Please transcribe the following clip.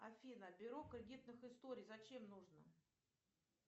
афина бюро кредитных историй зачем нужно